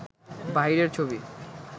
বাহিরের ছবি